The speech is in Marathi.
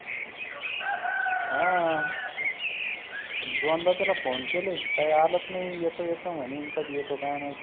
हां आता दोनदा त्याला phone केले. काही आलाच नाही येतो येतो म्हणी कधी येतो काय माहित